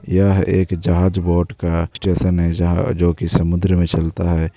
यह एक जहाज बोट का स्टेशन है जहाँ जो की समुंदर में चलता है।